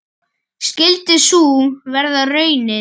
Skyldi sú vera raunin?